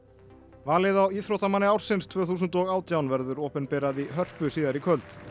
valið á íþróttamanni ársins tvö þúsund og átján verður opinberað í Hörpu síðar í kvöld